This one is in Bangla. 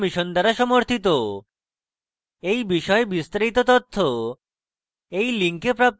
এই বিষয়ে বিস্তারিত তথ্য এই link প্রাপ্তিসাধ্য